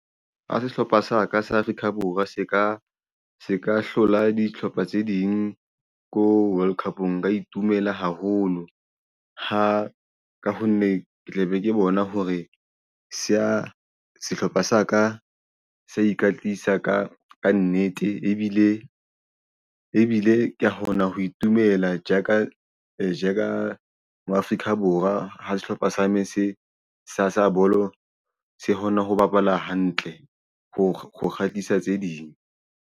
Ha sehlopha sa ka sa Afrika Borwa se ka hlola dihlopha tse ding ko World Cup nka itumela haholo ha ka ho nne ke tlabe ke bona hore se ya sehlopha sa ka sa ikatisa ka nnete ebile ke kgona ho itumela jaaka je ka ma Afrika Borwa. Ha sehlopha sa me sa bolo se kgona ho bapala hantle ho kgatlisa tse ding.